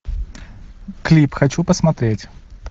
клип хочу посмотреть